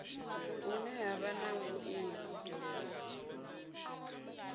hune ha vha na vhuiivhi